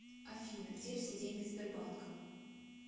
афина где все деньги сбербанка